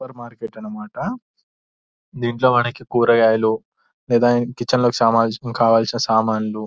super market అన్నమాట దీంట్లో మనకి కూరగాయలు లేదా కిచెన్ లోకి సంబంధించిన కావాల్సిన సామాన్లు --